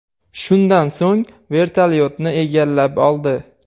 Shundan so‘ng vertolyotni egallab oldi.